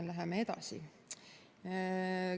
Läheme edasi.